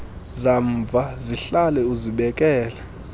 zamva zihlale uzibekele